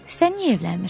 Sən niyə evlənmirsən?